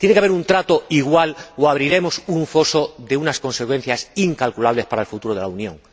Tiene que haber un trato igual o abriremos un foso de unas consecuencias incalculables para el futuro de la Unión.